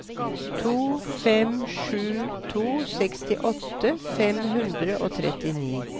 to fem sju to sekstiåtte fem hundre og trettini